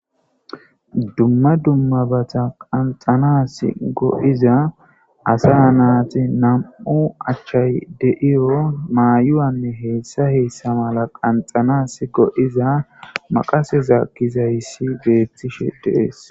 dumma dummabata qanxanas go7iza asa naati nam7u achchay de'iyo maayuwanne heessa heessa mala qanxanas go7iza maqaseza kizayssi beettishe deees